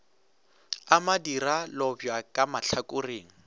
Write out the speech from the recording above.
a madira lobjwa ka mahlakoreng